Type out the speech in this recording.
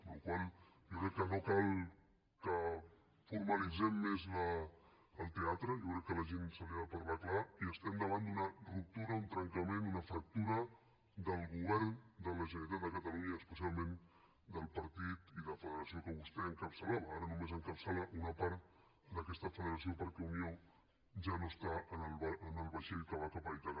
amb la qual cosa jo crec que no cal que formalitzem més el teatre jo crec que a la gent se li ha de parlar clar i estem davant d’una ruptura un trencament una fractura del govern de la generalitat de catalunya i especialment del partit i de la federació que vostè encapçalava ara només encapçala una part d’aquesta federació perquè unió ja no està en el vaixell que va cap a ítaca